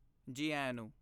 ਜੀ ਆਇਆਂ ਨੂੰ।